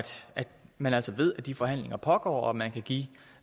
man altså ved at de forhandlinger pågår og man kan give